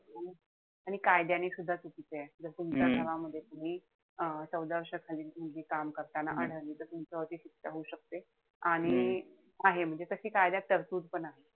आणि कायद्याने सुद्धा चुकीचंय. जस तुमच्या घरामध्ये तुम्ही अं चौदा वर्षाखालील मुलगी काम करताना आढळली तर तुमच्यावरती शिक्षा होऊ शकते. आणि आहे म्हणजे तशी कायद्यामध्ये तरतूद पण आहे.